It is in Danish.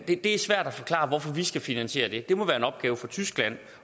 det er svært at forklare hvorfor vi skal finansiere det det må være en opgave for tyskland